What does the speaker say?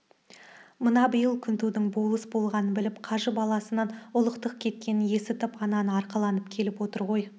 мына биыл күнтудың болыс болғанын біліп қажы баласынан ұлықтық кеткенін есітіп ананы арқаланын келіп отыр ғой